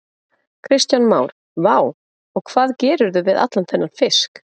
Kristján Már: Vá, og hvað gerirðu við allan þennan fisk?